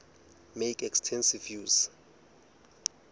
make extensive use